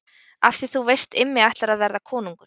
Af því þú veist Immi ætlar að verða konungur.